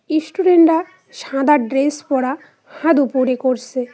ইস্টুডেন্টরা -রা সাদা ড্রেস পরা হাদ উপরে করসে।